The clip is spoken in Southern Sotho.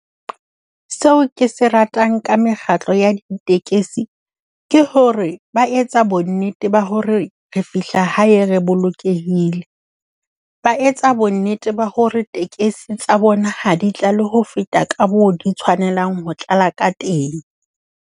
Seo ke se ratang ka mekgatlo ya ditekesi ke hore ba etsa bonnete ba hore re fihla hae re bolokehile. Ba etsa bonnete ba hore tekesi tsa bona ha di tlale ho feta ka moo di tshwanelang ho tlala ka teng.